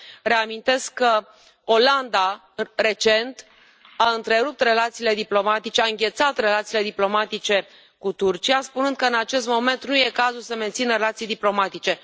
Reamintesc că Olanda, recent, a întrerupt relațiile diplomatice, a înghețat relațiile diplomatice cu Turcia, spunând că, în acest moment, nu este cazul să mențină relații diplomatice.